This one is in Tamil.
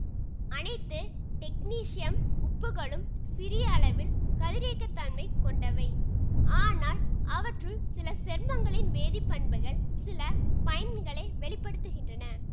அனைத்து டெக்னீசியம் உப்புகளும் சிறிய அளவில் கதிரியக்கத்தன்மை கொண்டவை ஆனால் அவற்றுள் சில சேர்மங்களின் வேதிப்பண்புகள் சில பயன்களை வெளி படுத்துகின்றன